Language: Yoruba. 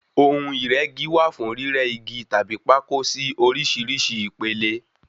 ohun Ìrẹ́gi wá fún rírẹ́ Igi tàbí pákó sí oríṣìíríṣìí ìpele.